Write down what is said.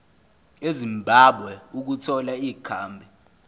ezimbabwe ukuthola ikhambi